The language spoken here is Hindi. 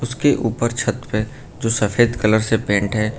उसके ऊपर छत है जो सफेद कलर से पेंट है।